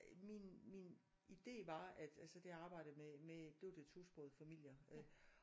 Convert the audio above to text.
Min min idé var at altså det arbejdede jeg med med det var de tosprogede familier øh